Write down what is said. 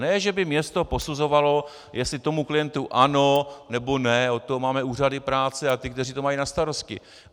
Ne že by město posuzovalo, jestli tomu klientu ano, nebo ne, od toho máme úřady práce a ty, kteří to mají na starosti.